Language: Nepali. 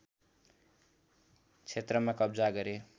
क्षेत्रमा कब्जा गरे